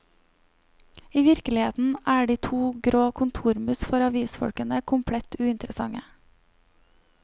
I virkeligheten er de to grå kontormus for avisfolkene komplett uinteressante.